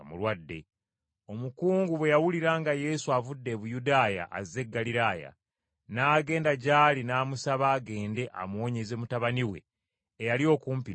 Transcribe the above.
Omukungu bwe yawulira nga Yesu avudde e Buyudaaya azze e Ggaliraaya, n’agenda gy’ali n’amusaba agende amuwonyeze mutabani we eyali okumpi n’okufa.